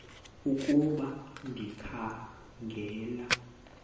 ukuba ndikha ngela